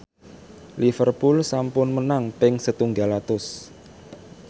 Liverpool sampun menang ping setunggal atus